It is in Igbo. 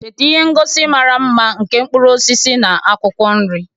Cheta ihe ngosi mara mma nke mkpụrụ osisi na akwụkwọ nri,